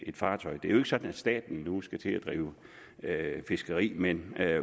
et fartøj det er jo ikke sådan at staten nu skal til at drive fiskeri men